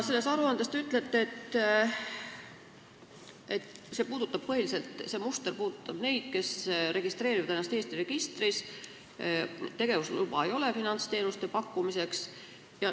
Selles aruandes te ütlete, et see muster puudutab põhiliselt neid, kes registreerivad ennast Eesti registris, kuid kellel ei ole tegevusluba finantsteenuste pakkumiseks.